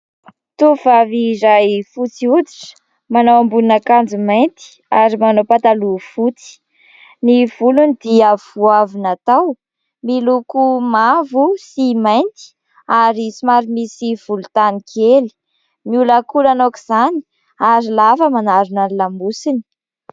Tovovay iray fotsy hoditra manao ambonin'akanjo mainty ary manao pataloha fotsy. Ny volony dia vao avy natao, miloko mavo sy mainty ary somary misy volontany kely, miolankolana aok'izany ary lava manarona ny lamosiny.